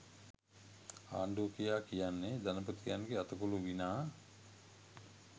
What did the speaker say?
ආණ්ඩු කියා කියන්නේ ධනපතියන්ගේ අතකොළු විනා